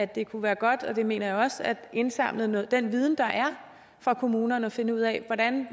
det kunne være godt det mener jeg også at indsamle den viden der er fra kommunerne og finde ud af